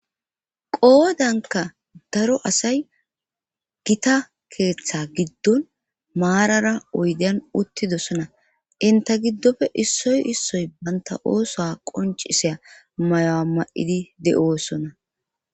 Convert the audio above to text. Qoodanka daro asay gita keeththa giddon maarara oydiyan uttidosona inta giddofe issoy issoy banta ooso qoncisiya mayuwa ma7idi de7oossona.